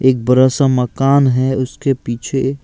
एक बड़ा सा मकान है उसके पीछे--